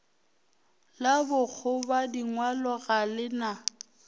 la bokgobadingwalo ga le na